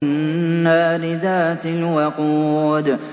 النَّارِ ذَاتِ الْوَقُودِ